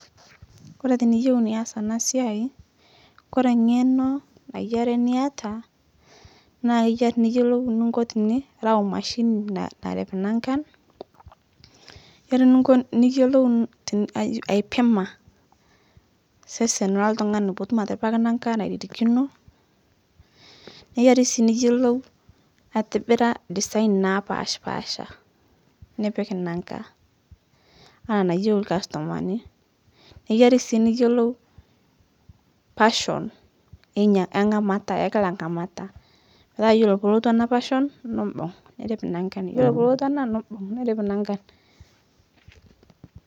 Kore tiniyeu nias ana siai, Kore ng'eno nayiari niata, naa yiari niyiolou ninko tinirao machine nar narip nankan, yiari ninko niyiolou tin aiji aipima sesen ltung'ani putum atiripaki nanka nairirikino, neiyiari sii niyiolou aitibira design naapashpasha nipik nanka, ana nayeu lkastomani, neiyiari sii niyiolou pashon einya e ng'amata ekila ng'amata petaa yiolo poolotu ana pashon nibung' nirip nankan, yiolo polotu ana nibung' nirip nankan.